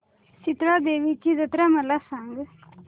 शितळा देवीची जत्रा मला सांग